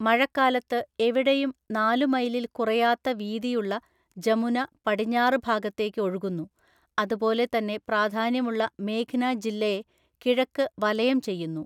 മഴക്കാലത്ത് എവിടെയും നാലു മൈലിൽ കുറയാത്ത വീതിയുള്ള ജമുന പടിഞ്ഞാറ് ഭാഗത്തേക്ക് ഒഴുകുന്നു, അതുപോലെ തന്നെ പ്രാധാന്യമുള്ള മേഘ്‌ന ജില്ലയെ കിഴക്ക് വലയം ചെയ്യുന്നു.